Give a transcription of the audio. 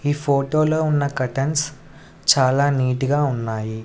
ఈ ఫోటో లో ఉన్న కర్టెన్స్ చాలా నీట్ గా ఉన్నాయి.